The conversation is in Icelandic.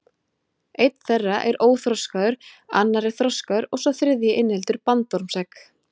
Einn þeirra er óþroskaður, annar er þroskaður og sá þriðji inniheldur bandormsegg.